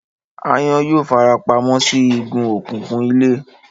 Aáyán yóò fara pa mọ́ sí igun òkùnkùn ilé